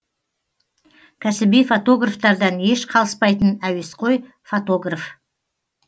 кәсіби фотографтардан еш қалыспайтын әуесқой фотограф